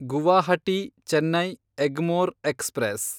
Guwahati Chennai Egmore express